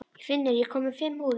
Finnur, ég kom með fimm húfur!